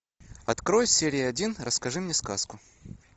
открой серия один расскажи мне сказку